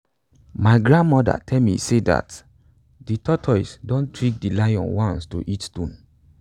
my grandmother tell me sey dat de tortoise don trick de lion once to eat stones